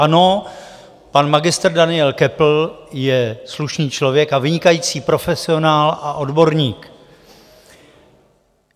Ano, pan magistr Daniel Köppl je slušný člověk a vynikající profesionál a odborník.